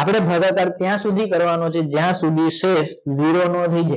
આપડે ભાગકાર ત્યાં સુધી કરવાનો છે જ્યાં સુધી શેસ જીરો ના થાય